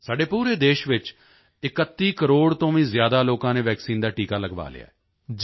ਸਾਡੇ ਪੂਰੇ ਦੇਸ਼ ਵਿੱਚ 31 ਕਰੋੜ ਤੋਂ ਵੀ ਜ਼ਿਆਦਾ ਲੋਕਾਂ ਨੇ ਵੈਕਸੀਨ ਦਾ ਟੀਕਾ ਲਗਵਾ ਲਿਆ ਹੈ